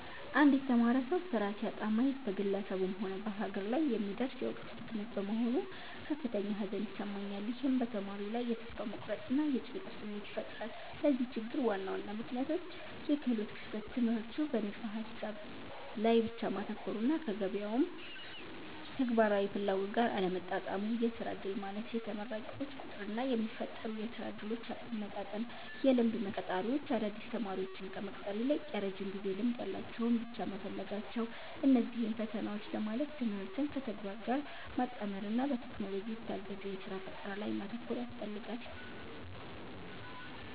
አንድ የተማረ ሰው ሥራ ሲያጣ ማየት በግለሰቡም ሆነ በሀገር ላይ የሚደርስ የዕውቀት ብክነት በመሆኑ ከፍተኛ ሐዘን ይሰማኛል። ይህም በተማሪው ላይ የተስፋ መቁረጥና የጭንቀት ስሜት ይፈጥራል። ለዚህ ችግር ዋና ዋና ምክንያቶች፦ -የክህሎት ክፍተት፦ ትምህርቱ በንድፈ-ሐሳብ ላይ ብቻ ማተኮሩና ከገበያው ተግባራዊ ፍላጎት ጋር አለመጣጣሙ። -የሥራ ዕድል ማነስ፦ የተመራቂዎች ቁጥርና የሚፈጠሩ የሥራ ዕድሎች አለመመጣጠን። -የልምድ መስፈርት፦ ቀጣሪዎች አዳዲስ ተማሪዎችን ከመቅጠር ይልቅ የረጅም ጊዜ ልምድ ያላቸውን ብቻ መፈለጋቸው። እነዚህን ፈተናዎች ለማለፍ ትምህርትን ከተግባር ጋር ማጣመርና በቴክኖሎጂ የታገዘ የሥራ ፈጠራ ላይ ማተኮር ያስፈልጋል።